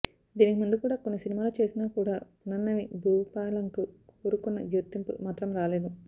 దీనికి ముందు కూడా కొన్ని సినిమాలు చేసినా కూడా పునర్ణవి భూపాలంకు కోరుకున్న గుర్తింపు మాత్రం రాలేదు